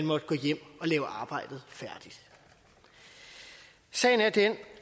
måtte gå hjem og lave arbejdet færdigt sagen er den